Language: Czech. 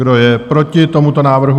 Kdo je proti tomuto návrhu?